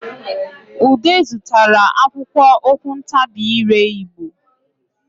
Ude zụtara akwụkwọ okwuntabiire Igbo